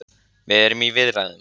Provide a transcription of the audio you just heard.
Við erum í viðræðum